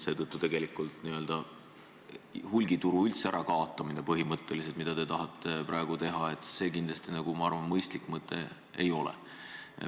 Seetõttu n-ö hulgimüügituru sisuliselt ärakaotamine, mida te tahate praegu teha, kindlasti mõistlik mõte ei ole.